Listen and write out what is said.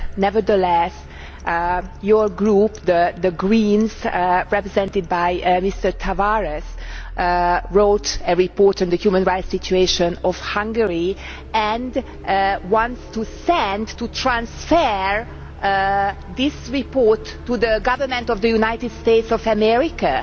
Nevertheless, your group, the Greens, represented by Mr Tavares, wrote a report on the human rights situation in Hungary and wants to send to transfer this report to the Government of the United States of America.